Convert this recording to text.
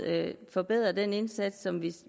have forbedret den indsats som vi